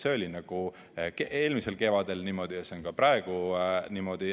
See oli eelmisel kevadel niimoodi ja see on ka praegu niimoodi.